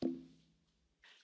Köszönöm szépen!